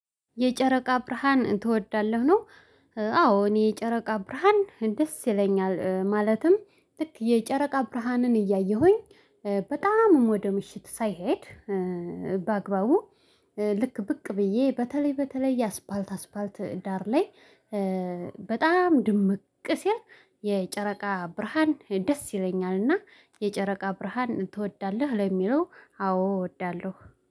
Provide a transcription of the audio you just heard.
የጨረቃ ብርሃን ትወዳለህ ነው? አዎ እኔ የጨረቃ ብርሃን ደስ ይለኛል ማለትም ልክ የጨረቃ ብርሃንን እያየሁኝ። በጣምም ወደ ምሽት ሳይሄድ። በአግባቡ ልክ ብቅ ብዬ በተለይ በተለይ አስፓልት አስፓልት ዳር ላይ። በጣም ድምቅ ሲል የጨረቃ ብርሃን ደስ ይለኛልና። የጨረቃ ብርሃን ትወዳለህ ለሚለው? አዎ እወዳለሁ